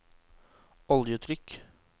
oljetrykk